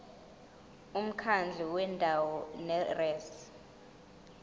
umkhandlu wendawo ngerss